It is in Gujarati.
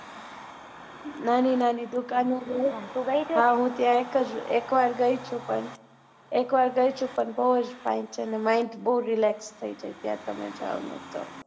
નાની દુકાનો તું ત્યાં ગઈ છે હા હું એક જ વાર હું એક વાર ગઈ છું. પણ એક વાર ગઈ છું પણ બઉ જ fine છે ને mind બઉ relex થઇ જાય તમે ત્યાં જાઓ ને તો